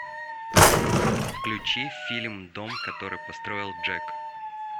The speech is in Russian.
включи фильм дом который построил джек